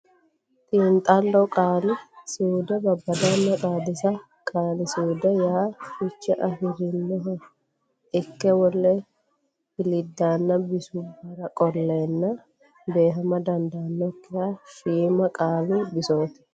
Xiinxallo Qaali suude Babbadanna Xaadisa Qaali suudeho yaa fiche afi rinoha ikke wole hiliddaanna bisubbara qolleenna beehama dandaannokki shiima qaalu bisooti.